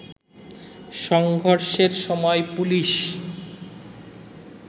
সংঘর্ষের সময় পুলিশ